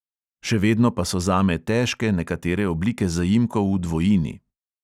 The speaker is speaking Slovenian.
Še vedno pa so zame težke nekatere oblike zaimkov v dvojini.